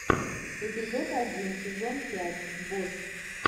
эпизод один сезон пять босс